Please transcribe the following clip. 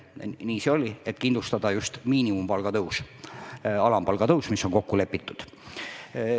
Nii see oli, et kindlustada just miinimumpalga tõus, alampalga tõus, mis on kokku lepitud.